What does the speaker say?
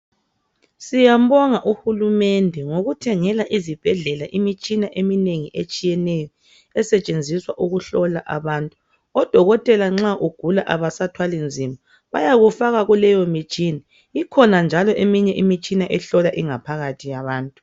Siyambonga uhulumende ngokuthengela izibhedlela imitshina eminengi etshiyeneyo esetshenziswa ukuhlola abantu. Odokotela nxa ugula abasathwali nzima bayakufaka kuleyo mitshina. Ikhona njalo eminye imitshina ehlola ingaphakathi yabantu.